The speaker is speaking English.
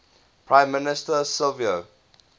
prime minister silvio